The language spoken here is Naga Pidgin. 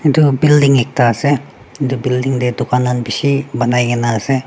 etu building ekta ase etu building te dukan lan bishi banai ke na ase.